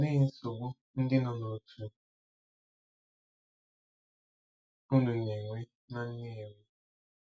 Olee nsogbu ndị nọ n'otu unu na-enwe na Nnewi?